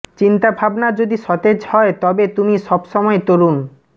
চিন্তাভাবনা যদি সতেজ হয় তবে তুমি সব সময় তরুণ